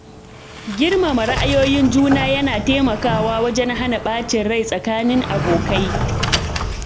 Girmama ra’ayoyin juna yana taimakawa wajen hana ɓacin rai tsakanin abokai.